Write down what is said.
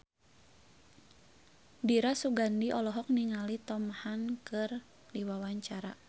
Dira Sugandi olohok ningali Tom Hanks keur diwawancara